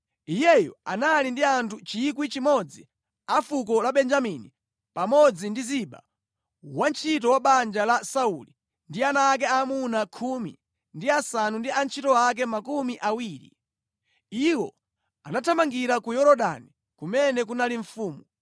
Iyeyo anali ndi anthu 1,000 a fuko la Benjamini pamodzi ndi Ziba, wantchito wa banja la Sauli ndi ana ake aamuna khumi ndi asanu ndi antchito ake makumi awiri. Iwo anathamangira ku Yorodani kumene kunali mfumu.